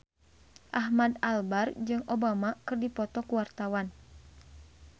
Ahmad Albar jeung Obama keur dipoto ku wartawan